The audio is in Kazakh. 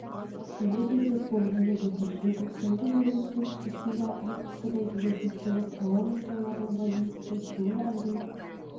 күтіледі деп болжанып отыр желтоқсанда еліміздің шығысында арктикадан келетін суық ауа массаларына байланысты суы әрі